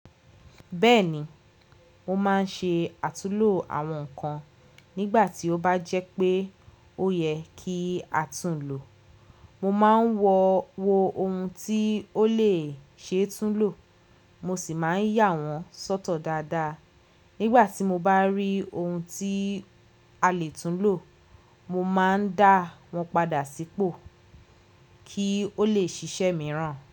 Bẹ́ẹ̀ni, mo máa ń ṣe àtúnlò àwọn ǹkan nígbà tí ó bá jẹ́ pé ó yẹ kí a tún lò. Mo máa ń wo ohun tí ó lè ṣe tún lò, mo sì máa ń yà wọ́n sọ́tọ̀ dáadáa. Nígbà tí mo bá rí ohun tí a lè tún lò, mo máa ń dá wọ́n padà sípò kí ó lè ṣiṣẹ́ mìíràn.